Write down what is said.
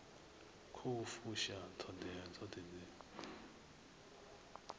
khou fusha ṱhoḓea dzoṱhe dzi